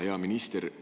Hea minister!